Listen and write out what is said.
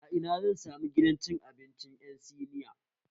A Ina zan samu gidan abinci ƴan siniya